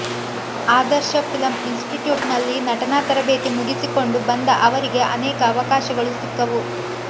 ಆದರ್ಶ film ಇನ್ಸ್ಟಿಟ್ಯೂಟ್ನಲ್ಲಿ ನಟನಾ ತರಬೇತಿ ಮುಗಿಸಿಕೊಂಡು ಬಂದ ಅವರಿಗೆ ಅನೇಕ ಅವಕಾಶಗಳು ಸಿಕ್ಕವು